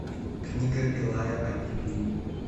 книга илая о библии